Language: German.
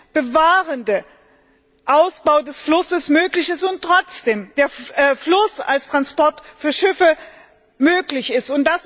umweltbewahrender Ausbau des Flusses möglich ist und trotzdem der Fluss als Transportweg für Schiffe möglich ist.